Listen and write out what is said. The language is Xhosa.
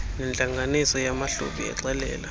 nentlanganiso yamahlubi exelela